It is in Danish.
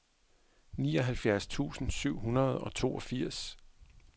nioghalvfjerds tusind syv hundrede og toogfirs